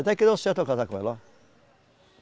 Até que deu certo eu casar com ela, ó.